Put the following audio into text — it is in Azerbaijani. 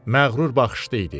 Məğrur baxışlı idi.